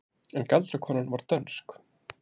En galdrakonan var dönsk.